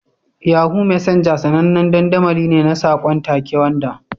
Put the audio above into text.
Yahoo Messenger sanannen dandamali ne na saƙon take wanda.